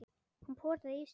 Hún potaði í ísinn.